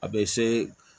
A bɛ se